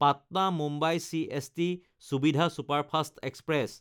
Patna-Mumbai CST সুবিধা superfast express